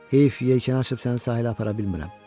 Heyf, yekəni açıb səni sahilə apara bilmirəm.